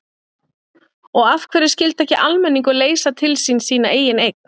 Og af hverju skyldi ekki almenningur leysa til sín sína eigin eign?